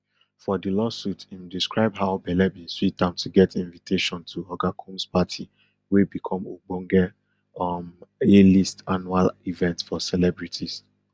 for di lawsuit im describe how belle bin sweet am to get invitation to oga combs party wey become ogbonge um alist annual event for celebrities